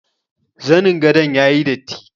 Zanin gadon yayi datti.